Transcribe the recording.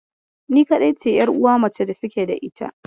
Ni kaɗai ce 'yaruwa mace da suke da ita.